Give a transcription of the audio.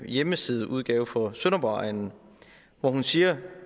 hjemmesideudgave for sønderborgegnen hvor hun siger